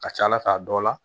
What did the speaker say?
Ka ca ala fɛ a dɔw la